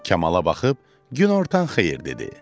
Kamala baxıb günortan xeyir dedi.